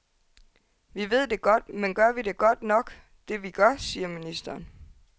Vi ved det godt, men gør vi det godt nok, det vi gør, siger ministeren.